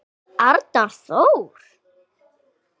Arnar Þór.